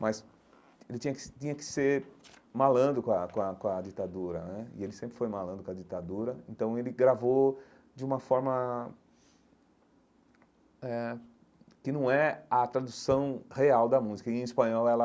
Mas ele tinha que tinha que ser malando com a com a com a ditadura né, e ele sempre foi malando com a ditadura, então ele gravou de uma forma eh que não é a tradução real da música, e em espanhol ela...